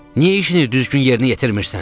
Niyə işini düzgün yerinə yetirmirsən?